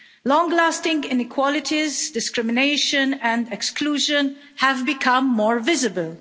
long-lasting inequalities, discrimination and exclusion have become more visible.